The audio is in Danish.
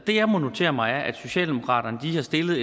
det jeg må notere mig er at socialdemokratiet har